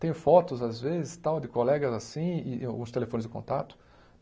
Tenho fotos, às vezes, tal de colegas assim e os telefones de contato.